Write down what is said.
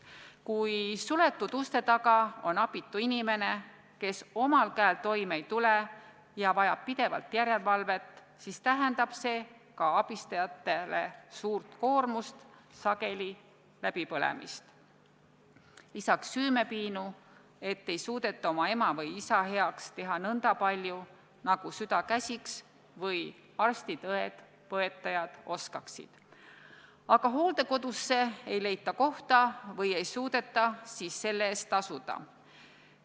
Kui suletud uste taga on abitu inimene, kes omal käel toime ei tule ja vajab pidevalt järelevalvet, siis tähendab see ka abistajatele suurt koormust, sageli läbipõlemist, lisaks süümepiinu, et ei suudeta oma ema või isa heaks teha nõnda palju, nagu süda käsiks või arstid-õed-põetajad oskaksid, aga hooldekodusse ei leita kohta või ei suudeta selle eest tasuda.